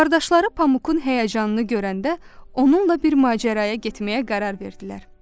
Qardaşları Pamukun həyəcanını görəndə onunla bir macəraya getməyə qərar verdilər.